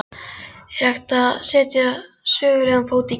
Er hægt að setja sögulegan fót í gifs?